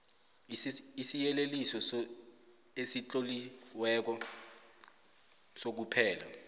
isiyeleliso esitloliweko sokuphela